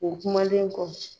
O kumalen kɔ